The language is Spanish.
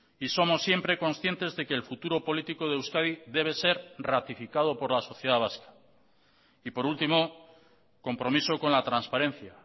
y somos siempre conscientes de que el futuro político de euskadi debe ser ratificado por la sociedad vasca y por último compromiso con la transparencia